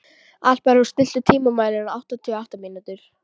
Alparós, stilltu tímamælinn á áttatíu og átta mínútur.